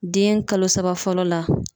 Den kalo saba fɔlɔ la